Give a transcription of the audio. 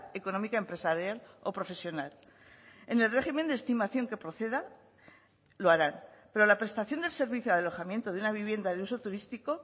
económica empresarial o profesional en el régimen de estimación que proceda lo harán pero la prestación del servicio de alojamiento de una vivienda de uso turístico